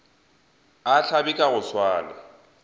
a hlabe ka go swana